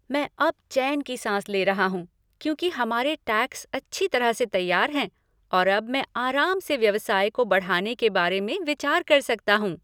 मैं अब चैन की साँस ले रहा हूँ क्योंकि हमारे टैक्स अच्छी तरह से तैयार हैं और अब मैं आराम से व्यवसाय को बढ़ाने के बारे में विचार कर सकता हूँ।